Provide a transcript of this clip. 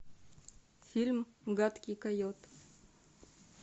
фильм гадкий койот